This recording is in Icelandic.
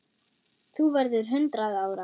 Þú verður hundrað ára.